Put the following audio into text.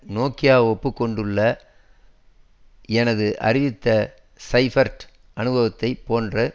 Nokia ஒப்பு கொண்டுள்ளது என அறிவித்த சைபெர்ட் அனுபவத்தை போன்று